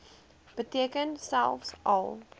beteken selfs al